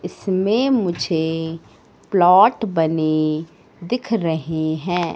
इसमें मुझे प्लॉट बने दिख रहे हैं।